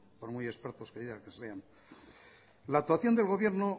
por muy expertos que digan que sean la actuación del gobierno